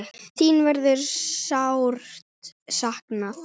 Þin verður sárt saknað.